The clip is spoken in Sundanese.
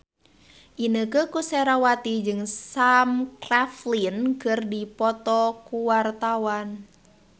Inneke Koesherawati jeung Sam Claflin keur dipoto ku wartawan